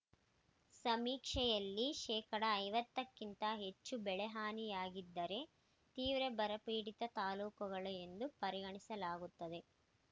ಸಮೀಕ್ಷೆಯಲ್ಲಿ ಶೇಕಡಾ ಐವತ್ತು ಕ್ಕಿಂತ ಹೆಚ್ಚು ಬೆಳೆಹಾನಿಯಾಗಿದ್ದರೆ ತೀವ್ರ ಬರಪೀಡಿತ ತಾಲೂಕುಗಳು ಎಂದು ಪರಿಗಣಿಸಲಾಗುತ್ತದೆ